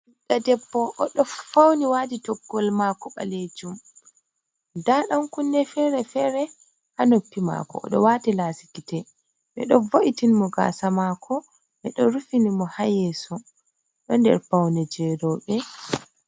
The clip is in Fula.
Ɓiɗɗo debbo oɗo fauni waɗi toggol mako ɓalejum. nda dan kunne fere-fere ha noppi mako. oɗo wati lasi gite ɓeɗo vo’itin mo gasa mako ɓeɗo rufini mo hayeso. ɗo nder paune je roɓe.